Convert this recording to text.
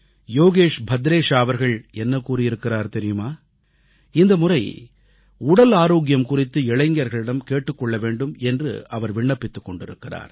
யோகேஷ் பத்ரேஷா அவர்கள் என்ன கூறியிருக்கிறார் தெரியுமா இந்த முறை உடல் ஆரோக்கியம் குறித்து இளைஞர்களிடம் கேட்டுக் கொள்ள வேண்டும் என்று அவர் விண்ணப்பித்துக் கொண்டிருக்கிறார்